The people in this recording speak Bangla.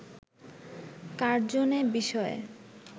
কার্জন এ বিষয়ে